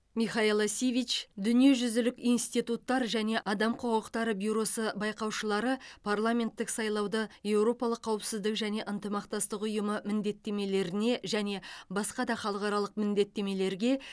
михаела сивич дүниежүзілік институттар және адам құқықтары бюросы бақылаушылары парламенттік сайлауды еуропалық қауіпсіздік және ынтымақтастық ұйымы міндеттемелеріне және басқа да халықаралық міндеттемелерге